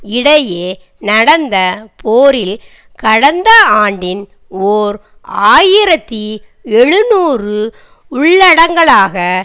இடையே நடந்த போரில் கடந்த ஆண்டின் ஓர் ஆயிரத்தி எழுநூறு உள்ளடங்கலாக